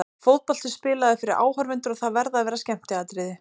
Fótbolti er spilaður fyrir áhorfendur og það verða að vera skemmtiatriði.